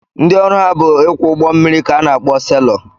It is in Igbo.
Ndị ọrụ ha bụ ịkwọ ụgbọ mmiri ka a na-akpọ selọ